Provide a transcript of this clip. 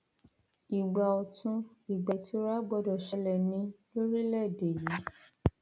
ìgbà ọtun ìgbà ìtura gbọdọ ṣẹlẹ ni lórílẹèdè yìí